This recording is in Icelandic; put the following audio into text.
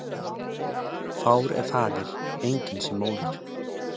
Fár er faðir, enginn sem móðir.